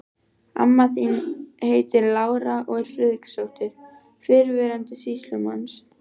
Amma þín heitir Lára og er Friðriksdóttir, fyrrverandi sýslumanns.